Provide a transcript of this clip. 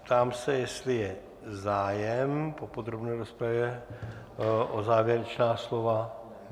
Ptám se, jestli je zájem po podrobné rozpravě o závěrečná slova.